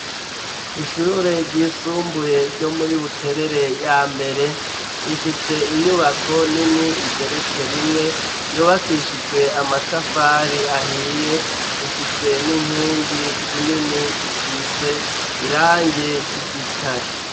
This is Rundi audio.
Ishure ryisumbuye ryo muri buterere ya mbere rifise inyubako nini igeretse rimwe yubakishijwe amatafari ahiye ifise n'inkingi zinini zisize irangi ry'igitare.